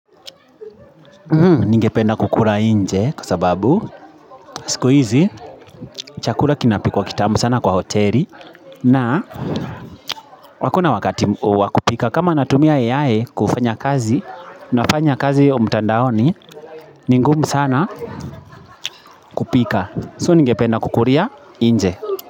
Ningependa kukula nje kwa sababu siku hizi chakula kinapikwa kitamu sana kwa hoteli na hakuna wakati wa kupika kama natumia AI kufanya kazi nafanya kazi mtandaoni ni ngumu sana kupika. So ningependa kukulia nje.